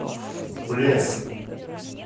плес